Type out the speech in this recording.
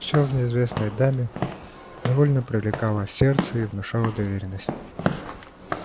всё в неизвестной даме невольно привлекало сердце и внушало доверенность